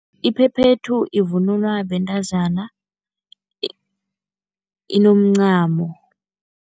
Iphephethu ivunulwa bentazana inomncamo.